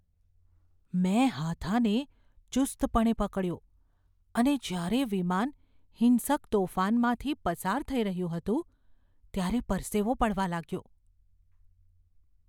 મેં હાથાને ચુસ્તપણે પકડ્યો અને જ્યારે વિમાન હિંસક તોફાનમાંથી પસાર થઈ રહ્યું હતું, ત્યારે પરસેવો પડવા લાગ્યો.